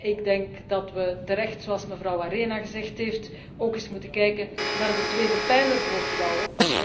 Ik denk dat we terecht, zoals mevrouw Arena gezegd heeft, ook eens moeten kijken naar de tweede pijler voor vrouwen.